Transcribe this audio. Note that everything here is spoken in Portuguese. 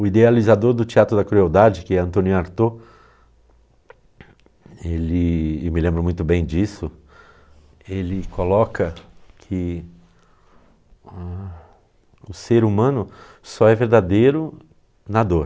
O idealizador do teatro da crueldade, que é António Artaud, ele e me lembro muito bem disso, ele coloca que hã, o ser humano só é verdadeiro na dor.